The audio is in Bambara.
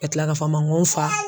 Ka tila ka fɔ a ma ngo fa.